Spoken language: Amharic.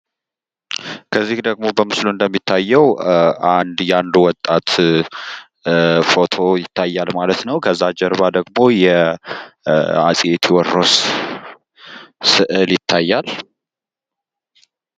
ከዚ ደግሞ በምስሉ እንደሚታየው አንድ የአንድ ወጣት ፎቶ ይታያል ማለት ነው ። ከዛ ጀርባ ደግሞ የአፄ ቴዎድሮስ ስዕል ይታያል ።